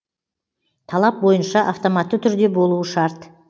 талап бойынша автоматты түрде болуы шарт